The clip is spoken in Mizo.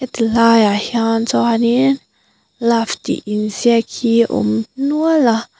heti laiah hian chuanin love tih inziak hi awm nual a.